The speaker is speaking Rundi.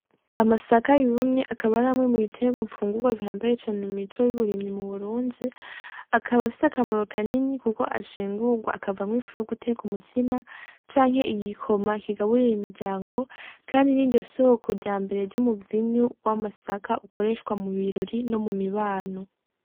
Amasaka yumye akaba ari amwe mu bitegwa mfungugwa bihambaye cane mu mico y'uburimyi mu Burundi, akaba afise akamaro kanini kuko ashingugwa akavamwo ifu yo guteka umutsima canke igikoma kigabirira imiryango kandi niryo soko ryambere ry'umuvinyu w'amasaka ukoreshwa mu birori no mumibano.